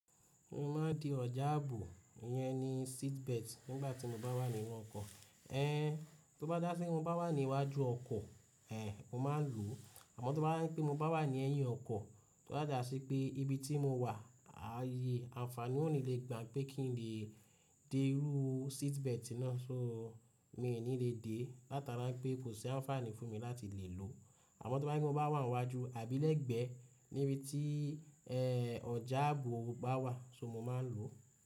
Mo máa di ọjà ààbò yẹn ni seat belt nígbà tí mo bá wà nínú ọkọ̀. Ẹn, tó bá dà sí pé mo bá wà ní iwájú ọkọ̀, ẹ̀, mo máa lòó. Àmọ́ tó bá dà pé mo bá wà ní ẹyin ọkọ̀, tó bàjà sí pé ibi tí mo wà, ààyè àǹfààní ò ní le gbà pé kí n lè dẹrú seat belt náà, ṣó mi ò ní lè dé látara pé kò sí àǹfààní fún mi láti lè lòó. Àmọ́ tó bá ní mo bá wà ní iwájú àbí lẹ́gbẹ́ níbi tí, ẹ́, ọjà ààbò bá wà, ṣó mo máa lòó.